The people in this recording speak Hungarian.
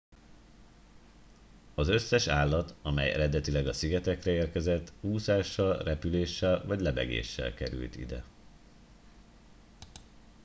az összes állat amely eredetileg a szigetekre érkezett úszással repüléssel vagy lebegéssel került ide